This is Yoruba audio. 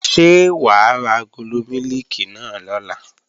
Ṣé wà á ra agolo mílìkì náà lọ̀la?